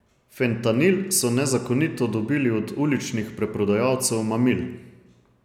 Fentanil so nezakonito dobili od uličnih preprodajalcev mamil.